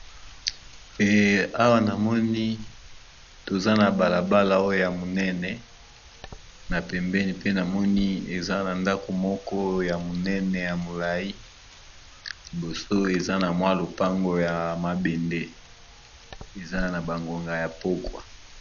Awa na moni toza na balabala oyo ya monene na pembeni pe namoni eza na ndako moko ya monene ya molai, liboso eza na mwa lopango ya mabende eza na bangonga ya pogwa.